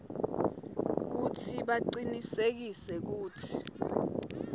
kutsi bacinisekise kutsi